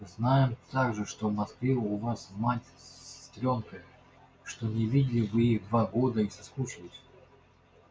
знаем также что в москве у вас мать с сестрёнкой что не видели вы их два года и соскучились